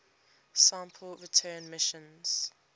sample return missions